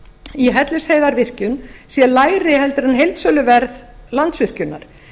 í hellisheiðarvirkjun sé lægri heldur en heildsöluverð landsvirkjunar